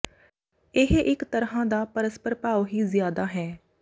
ਇਹ ਇਕ ਤਰ੍ਹਾਂ ਦਾ ਪਰਸਪਰ ਭਾਵ ਹੀ ਜ਼ਿਆਦਾ ਹੈ